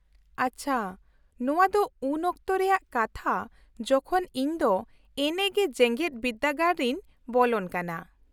-ᱟᱪᱪᱷᱟ, ᱱᱚᱶᱟ ᱫᱚ ᱩᱱ ᱚᱠᱛᱚ ᱨᱮᱭᱟᱜ ᱠᱟᱛᱷᱟ ᱡᱚᱠᱷᱚᱱ ᱤᱧ ᱫᱚ ᱮᱱᱮᱜᱮ ᱡᱮᱜᱮᱫ ᱵᱤᱫᱫᱟᱹᱜᱟᱲ ᱨᱤᱧ ᱵᱚᱞᱚᱱ ᱠᱟᱱᱟ ᱾